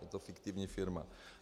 Je to fiktivní firma.